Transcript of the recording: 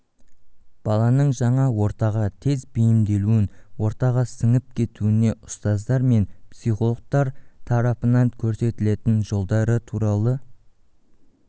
баланың жаңа ортаға тез бейімделуін ортаға сіңіп кетуіне ұстаздар мен психологтар тарапынан көрсетілетін жолдары туралы